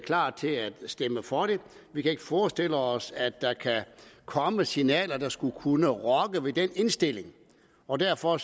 klar til at stemme for det vi kan ikke forestille os at der kan komme signaler der skulle kunne rokke ved den indstilling og derfor